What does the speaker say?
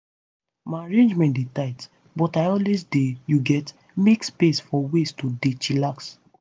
my arrangement dey tight but i always dey you get make space for ways to dey chillax.